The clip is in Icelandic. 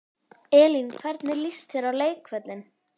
Elín: Hvernig líst þér á leikvöllinn?